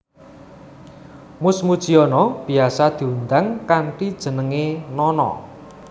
Mus Mujiono biyasa diundang kantni jenengé Nono